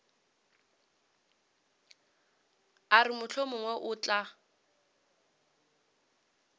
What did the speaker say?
a re mohlomongwe o tla